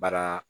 Baara